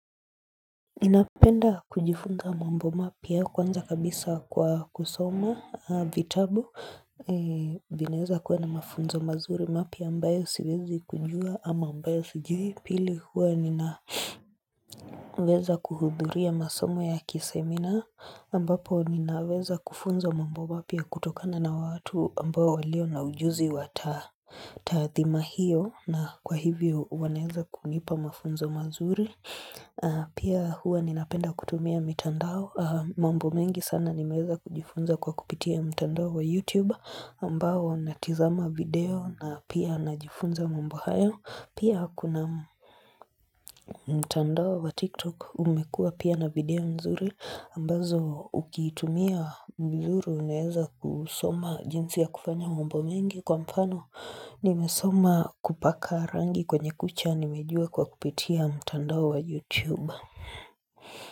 Napenda kujifunza mambo mapya kwanza kabisa kwa kusoma vitabu vinaweza kuwa na mafunzo mazuri mapya ambayo siwezi kujua ama ambayo sijui pili huwa ninaweza kuhudhuria masomo ya kisemina ambapo ninaweza kufunzwa mambo mapya kutokana na watu ambao walio na ujuzi wa taathima hiyo na kwa hivyo wanaweza kunipa mafunzo mazuri Pia hua ninapenda kutumia mitandao mambo mengi sana nimeza kujifunza kwa kupitia mtandao wa YouTube ambao natizama video na pia najifunza mambo hayo Pia kuna mtandao wa TikTok umekua pia na video mzuri ambazo ukitumia mzuri uweza kusoma jinsi ya kufanya mambo mengi Kwa mfano nimesoma kupaka rangi kwenye kucha nimejua kwa kupitia mtandao wa YouTube.